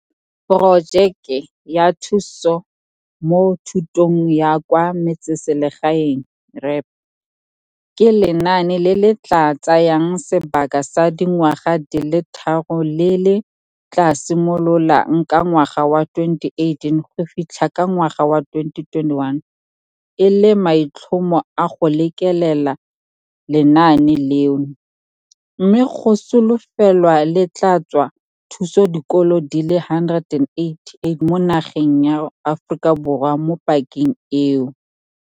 Porojeke ya Thuso mo Thutong ya kwa Metseselegae, REAP, ke lenaane le le tla tsayang sebaka sa dingwaga di le tharo le le tla simololang ka ngwaga wa 2018 go fitlha ka ngwaga wa 2021 e le maitlhomo a go lekelela lenaane leno, mme go solofelwa le tla tswa thuso dikolo di le 188 mo nageng ya Aforika Borwa mo pakeng eo.